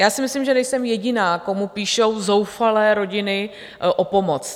Já si myslím, že nejsem jediná, komu píšou zoufalé rodiny o pomoc.